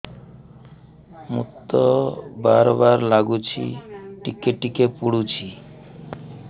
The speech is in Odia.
ମୁତ ବାର୍ ବାର୍ ଲାଗୁଚି ଟିକେ ଟିକେ ପୁଡୁଚି